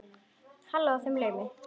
Hló að þeim í laumi.